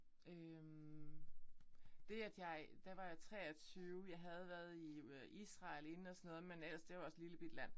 Øh det at jeg der var jeg 23. Jeg havde været i Israel inden og sådan noget men ellers det jo også et lillebitte land